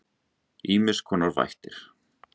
Ýmiss konar vættir.